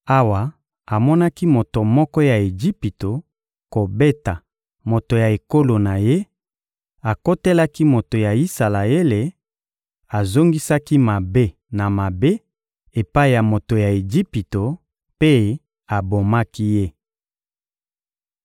Awa amonaki moto moko ya Ejipito kobeta moto ya ekolo na ye, akotelaki moto ya Isalaele, azongisaki mabe na mabe epai ya moto ya Ejipito mpe abomaki ye.